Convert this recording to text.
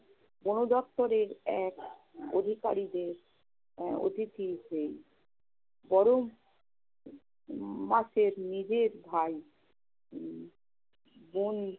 বনদপ্তরের এক অধিকারিকের আহ অতিথি হয়ে। বরং মাসের নিজের ভাই উম বন